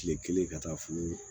Kile kelen ka taa fo